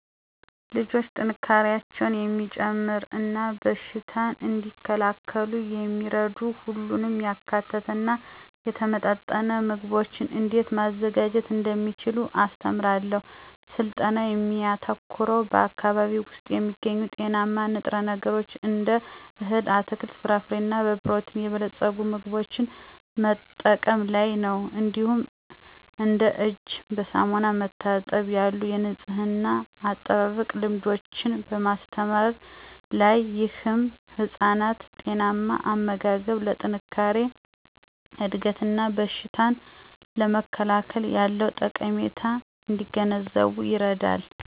ልጆች ጥንካሬያቸውን የሚጨምር እና በሽታን እንዲከላከሉ የሚረዱ ሁሉንም ያካተተ እና የተመጣጠነ ምግቦችን እንዴት ማዘጋጀት እንደሚችሉ አስተምራለሁ። ስልጠናው የሚያተኩረው በአካባቢዬ ውስጥ የሚገኙ ጤናማ ንጥረ ነገሮችን እንደ እህል፣ አትክልት፣ ፍራፍሬ እና በፕሮቲን የበለጸጉ ምግቦችን መጠቀም ላይ ነው። እንዲሁም እንደ እጅን በሳሙና መታጠብ ያሉ የንፅህና አጠባበቅ ልምዶችን በማስተማር ላይ። ይህም ህፃናት ጤናማ አመጋገብ ለጠንካራ እድገት እና በሽታን ለመከላከል ያለውን ጠቀሜታ እንዲገነዘቡ ይረዳል።